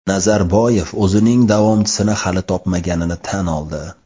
Nazarboyev o‘zining davomchisini hali topmaganini tan oldi .